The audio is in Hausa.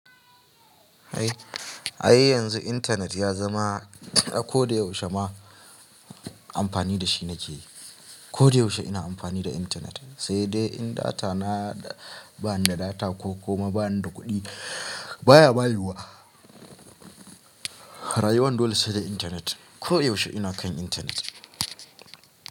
Ai yanzu intanet ya zama ko da yaushe ma amfani da shi na ke yi. Ko da yaushe ina amfani da intanet, sai dai in data na ba ni da data ko kuma ba ni da kuɗi bayama yiyuwa. Rayuwar dole sai da intanet. Ko yaushe ina kan intanet.